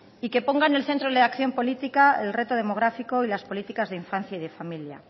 y que pongan en el centro de acción política el reto demográfico y las políticas de infancia y de familia